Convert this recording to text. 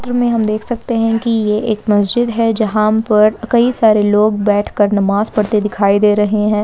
चित्र मे हम देख सकते हैं कि ये एक मस्जिद है जहाँ पर कई सारे लोग बैठकर नमाज़ पड़ते दिखाई दे रहे हैं।